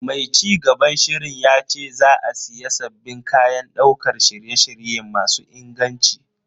Mai cigaban shirin yace za a siya sabbin kayan daukar shirye-shirye masu inganci.